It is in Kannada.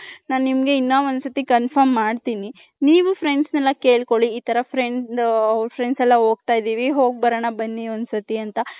ನಾನು ನಿಮ್ಮಗೆ ಇನ್ನ ಒಂದ್ ಸತಿ confirm ಮಾಡ್ತೀನಿ ನೀವು friends ಎಲ್ಲಾ ಕೆಳ್ಕೊಲ್ಲಿ ಈ ತರ friends friends ಎಲ್ಲಾ ಹೋಗ್ತೈದಿವಿ ಹೋಗ್ ಬರೋಣ ಬನ್ನಿ ಒಂದ್ ಸತಿ ಅಂತ .